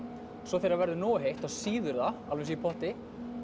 svo þegar það verður nógu heitt þá sýður það alveg eins og í potti